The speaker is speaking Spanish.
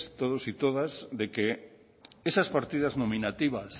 de que esas partidas nominativas